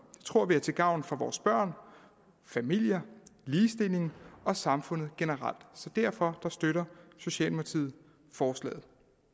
tror vi er til gavn for vores børn familier ligestilling og samfundet generelt og derfor støtter socialdemokratiet forslaget